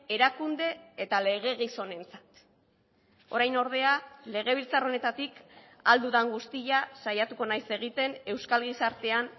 erakunde eta lege gizonentzat orain ordea legebiltzar honetatik ahal dudan guztia saiatuko naiz egiten euskal gizartean